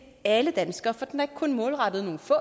alle danskere for den er ikke kun målrettet nogle få